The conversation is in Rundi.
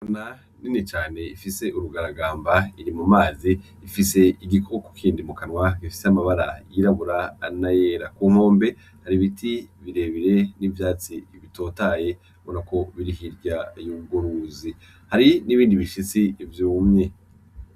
Ingona nini cane ifise urugaragamba iri mu mazi ifise igikoko kindi mu kanwa gifise amabara yirabura n'ayera. Ku nkombe hari ibiti birebire n'ivyatsi bitotahaye ubona ko biri hirya y'urwo ruzi, hari n'ibindi bishitsi vyumye.